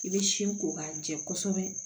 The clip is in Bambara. I bɛ sin ko k'a jɛ kosɛbɛ